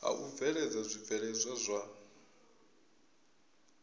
ha u bveledza zwibveledzwa zwa